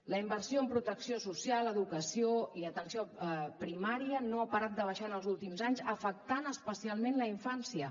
la inversió en protecció social educació i atenció primària no ha parat de baixar en els últims anys i ha afectat especialment la infància